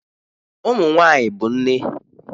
Ụmụ nwanyị bụ nne